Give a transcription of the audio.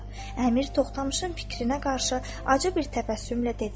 Əmir Toxtamışın fikrinə qarşı acı bir təbəssümlə dedi.